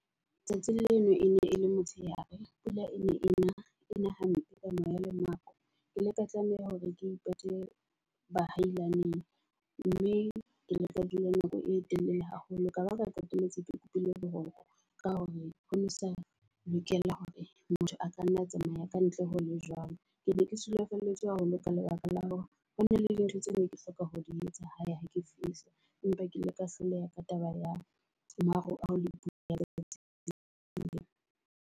Tsatsing leno e ne e le motshehare, pula e ne e na hampe ka moya ke maqhwa. Ke ile ka tlameha hore ke ipate bahailaneng mme ke ile ka dula nako e telele haholo. Ka baka la qetelletse ke kopile boroko ka hore ho ne ho sa lokela hore motho a ka nna tsamaya kantle ho le jwalo. Ke ne ke sulafalletswe haholo ka lebaka la hore hona le di ntho tseo ne ke hloka ho di etsa hae ha ke fihla. Empa ke ile ka hloleha ka taba ya ho maruo le pula ya letsatsi leo.